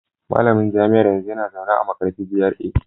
Malamin jami'ar yanzu yana zaune a Markarfi GRA